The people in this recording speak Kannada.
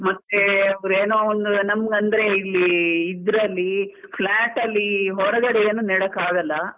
ಮತ್ತೆ ಏನೋ ಒಂದು ನಮ್ಗಂದ್ರೆ ಇಲ್ಲಿ ಇದ್ರಲ್ಲಿ flat ಅಲ್ಲಿ ಹೊರಗಡೆ ಏನು ನೆಡಕ್ಕೆ ಆಗಲ್ಲ.